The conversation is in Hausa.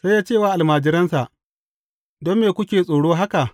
Sai ya ce wa almajiransa, Don me kuke tsoro haka?